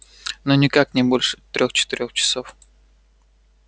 ну никак не больше трёх-четырёх часов